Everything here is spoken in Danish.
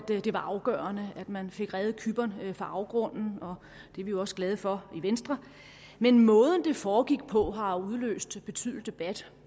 det var afgørende at man fik reddet cypern fra afgrunden og det er vi jo også glade for i venstre men måden det foregik på har udløst betydelig debat